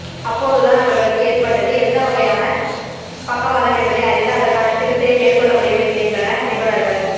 அப்போது தான் அவர்களுக்கு ஏற்பட்டது எந்த வகையான பக்கவாதம் என்பதை அறிந்து அதற்கான சிகிச்சையை மேற்கொள்ள முடியும் என்கின்றனர் நிபுணர்கள்